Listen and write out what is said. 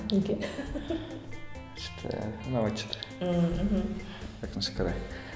неге ұнамайды что то ммм мхм өкінішке орай